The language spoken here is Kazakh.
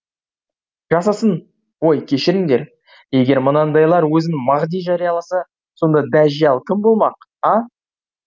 жасасын ой кешіріңдер егер мынандайлар өзін мағди жарияласа сонда дәжжәл кім болмақ а